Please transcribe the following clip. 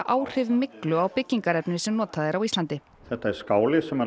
áhrif myglu á byggingarefni sem notað er á Íslandi þetta er skáli sem